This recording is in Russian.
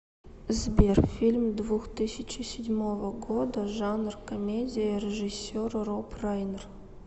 сбер фильм двух тысячи седьмого года жанр комедия режисер роб райнер